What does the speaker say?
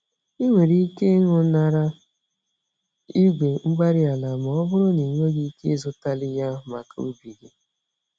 Ị nwere ike ịñụnara igwe-mgbárí-ala ma ọ bụrụ na ịnweghị ike ịzụtali ya maka ubi gị.